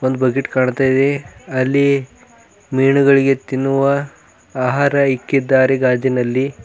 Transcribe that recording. Bucket ಕಾಣ್ತಾ ಇದೆ ಅಲ್ಲಿ ಮೀನುಗಳಿಗೆ ತಿನ್ನುವ ಆಹಾರ ಇಕ್ಕಿದ್ದರೆ ಗಾಜಿನಲ್ಲಿ.